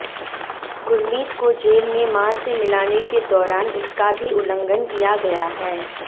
गुरमीत को जेल में मां से मिलाने के दौरान इसका भी उल्लंघन किया गया है